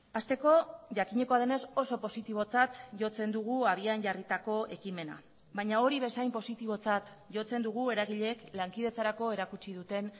hasteko jakinekoa denez oso positibotzat jotzen dugu abian jarritako ekimena baina hori bezain positibotzat jotzen dugu eragileek lankidetzarako erakutsi duten